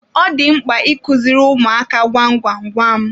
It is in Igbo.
Ọ dị mkpa I kuziri ụmụaka gwam gwam gwam.